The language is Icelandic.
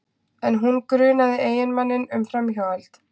En hún grunaði eiginmanninn um framhjáhald